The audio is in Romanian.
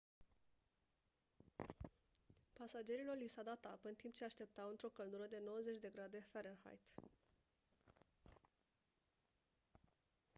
pasagerilor li s-a dat apă în timp ce așteptau într-o căldură de 90 de grade farenheit